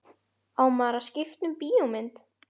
Á maður að skipta um bíómynd?